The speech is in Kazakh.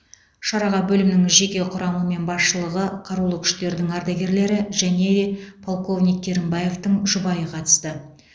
шараға бөлімнің жеке құрамы мен басшылығы қарулы күштердің ардагерлері және полковник керімбаевтің жұбайы қатысты